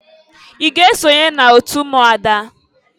I ga esonye n'otu ụmụada?